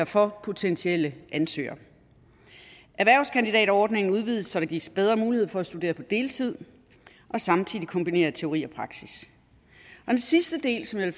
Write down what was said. for potentielle ansøgere erhvervskandidatordningen udvides så der gives bedre mulighed for at studere på deltid og samtidig kombinere teori og praksis den sidste del som jeg